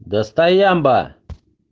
да стоямба